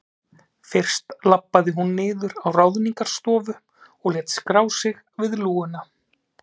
Fyrst labbaði hún niður á Ráðningarstofu og lét skrá sig við lúguna.